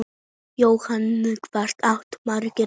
Jóhann: Hvað áttu margar ömmur?